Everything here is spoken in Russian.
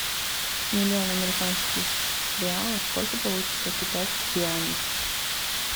миллион американских реалов сколько получится китайских юаней